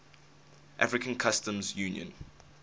african customs union